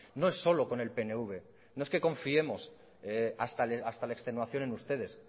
no es solo con el pnv no es que confiemos hasta la extenuación en ustedes